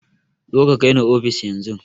Zoka ka kai ni ofis yan zun